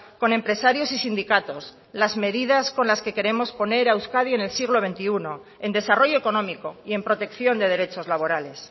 con empresarios y sindicatos las medidas con la que queremos poner a euskadi en el siglo veintiuno en desarrollo económico y en protección de derechos laborales